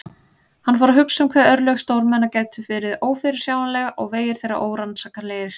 Hann fór að hugsa um hve örlög stórmenna gætu verið ófyrirsjáanleg og vegir þeirra órannsakanlegir.